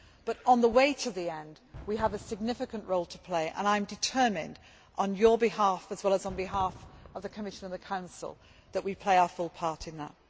But, on the way to the end, we have a significant role to play, and I am determined, on your behalf as well as on behalf of the Commission and the Council, that we play our full part in that.